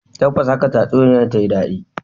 Tabbas haka tatsuniyar ta yi dadi